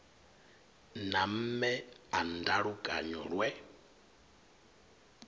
na mme a ndalukanyo lwe